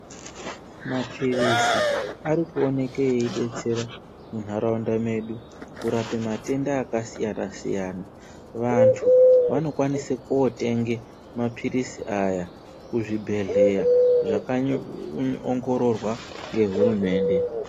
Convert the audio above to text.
Mapilizi arikuoneke eidetsera munharaunda medu kurape matenda kasiyana siyana vantu vanokwanise ndotenga mapilizi aya kuzvibhehleya zvakanyaongororwa ngehurumende.